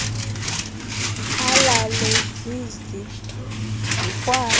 alale zwi zikwazi